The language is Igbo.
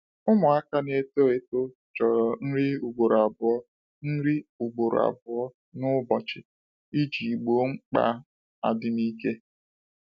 Ụmụaka na-eto eto chọrọ nri ugboro abụọ nri ugboro abụọ n'ụbọchị iji wee gboo mkpa adịm ike.